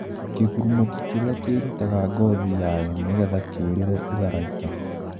Kigurumoki kiria kirutaga ngothi yayo nigetha kiurire itharaita.